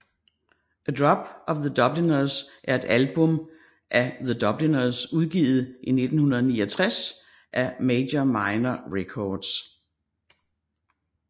A Drop of The Dubliners er et album af The Dubliners udgivet i 1969 af Major Minor Records